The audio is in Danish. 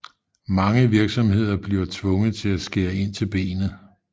Mange virksomheder bliver tvunget til at skære ind til benet